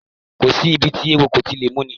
Kò sí ibi tí eewo kò ti lè múni